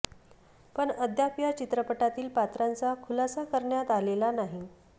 पण अद्याप या चित्रपटातील पात्रांचा खुलासा करण्यात आलेला नाही